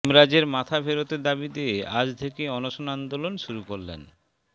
হেমরাজের মাথা ফেরতের দাবিতে আজ থেকে অনশন আন্দোলন শুরু করলেন